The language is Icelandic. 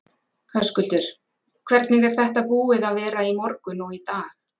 Höskuldur: Hvernig er þetta búið að vera í morgun og í dag?